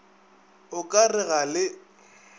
o ka re ga le